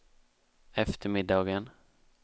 eftermiddagen